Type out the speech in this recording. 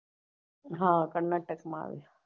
હા કર્નાટક માં આયો